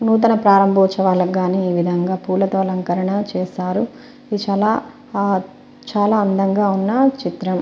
నూతన ప్రారంభోత్సవాలకు గాని ఈ విధంగా పూలతో అలంకరణ చేస్తారు ఏది చాలా చాలా అందంగా ఉన్న చిత్రం.